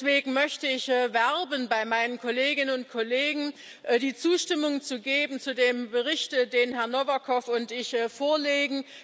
Und deswegen möchte ich bei meinen Kolleginnen und Kollegen werben, die Zustimmung zu geben zu dem Bericht, den Herr Novakov und ich vorlegen.